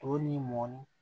To ni mɔni